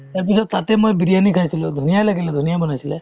ইয়াৰপিছত তাতে মই বিৰিয়ানি খাইছিলো ধুনীয়া লাগিলে ধুনীয়া বনাইছিলে